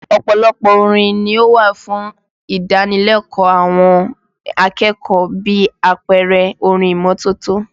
Ọ̀pọ̀lọpọ̀ orin ni ó wà fún ìdánilẹ́kọ̀ọ́ àwọn akẹ́kọ̀ọ́ bí àpẹẹrẹ orin ìmọ́tótó